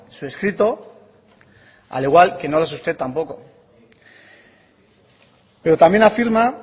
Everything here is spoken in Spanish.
su escrito al igual que no lo es usted tampoco pero también afirma